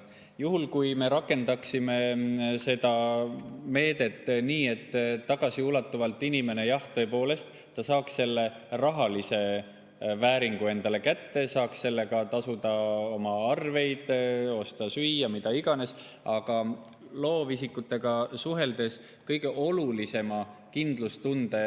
Sel juhul me rakendaksime seda meedet nii, et inimene tõepoolest saaks tagasiulatuvalt selle rahalise vääringu kätte, ta saaks sellega tasuda oma arveid, osta süüa, mida iganes, aga olen loovisikutega suhelnud ja nad on seda, mis kindlustunde